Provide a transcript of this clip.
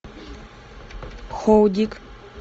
хоудик